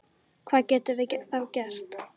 Hvað getum við þá gert?